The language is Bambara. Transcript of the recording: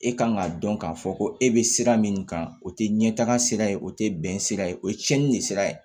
E kan k'a dɔn k'a fɔ ko e bɛ sira min kan o tɛ ɲɛtaaga sira ye o tɛ bɛn sira ye o ye cɛnni de sira ye